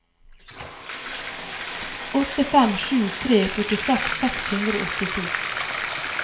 åtte fem sju tre førtiseks seks hundre og åttito